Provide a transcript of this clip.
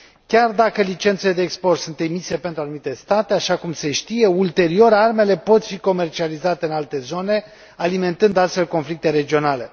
Chiar dacă licențele de export sunt emise pentru anumite state, așa cum se știe, ulterior, armele pot fi comercializate în alte zone, alimentând, astfel, conflicte regionale.